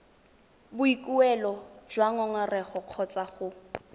boikuelo jwa ngongorego kgotsa go